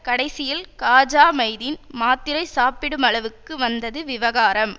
கடைசியில் காஜா மைதீன் மாத்திரை சாப்பிடும் அளவுக்கு வந்தது விவகாரம்